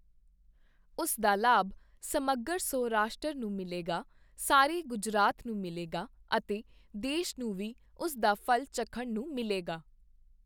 ਉਸ ਦਾ ਲਾਭ ਸਮੱਗਰ ਸੌ-ਰਾਸ਼ਟਰ ਨੂੰ ਮਿਲੇਗਾ, ਸਾਰੇ ਗੁਜਰਾਤ ਨੂੰ ਮਿਲੇਗਾ ਅਤੇ ਦੇਸ਼ ਨੂੰ ਵੀ ਉਸ ਦਾ ਫ਼ਲ ਚਖਣ ਨੂੰ ਮਿਲੇਗਾ।